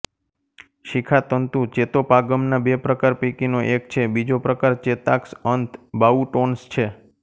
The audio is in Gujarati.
શિખાતંતુ ચેતોપાગમના બે પ્રકાર પૈકીનો એક છે બીજો પ્રકાર ચેતાક્ષ અંત બાઉટોન્સ છે